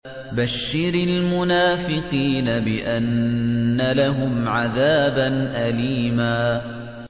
بَشِّرِ الْمُنَافِقِينَ بِأَنَّ لَهُمْ عَذَابًا أَلِيمًا